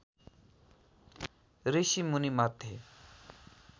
ऋषिमुनी मध्ये